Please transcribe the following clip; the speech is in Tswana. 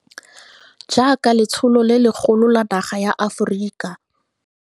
Jaaka letsholo le legolo la naga ya Aforika.